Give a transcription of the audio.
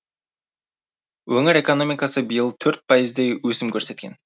өңір экономикасы биыл төрт пайыздай өсім көрсеткен